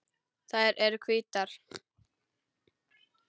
Þær eru hvítar.